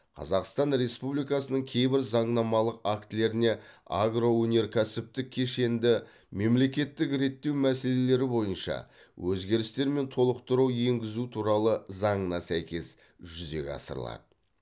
қазақстан республикасының кейбір заңнамалық актілеріне агроөнеркәсіптік кешенді мемлекеттік реттеу мәселелері бойынша өзгерістер мен толықтыру енгізу туралы заңына сәйкес жүзеге асырылады